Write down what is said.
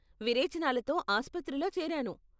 విరేచనాలతో ఆస్పత్రిలో చేరాను.